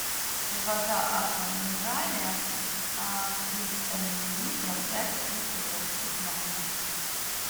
вода аква минерале триста миллилитров пять бутылок стеклянных